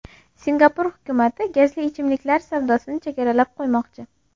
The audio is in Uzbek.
Singapur hukumati gazli ichimliklar savdosini chegaralab qo‘ymoqchi.